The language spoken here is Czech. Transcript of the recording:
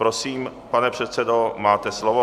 Prosím, pane předsedo, máte slovo.